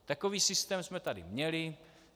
Takový systém jsme tady měli.